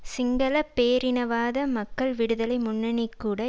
சிங்கள பேரினவாத மக்கள் விடுதலை முன்னணி கூட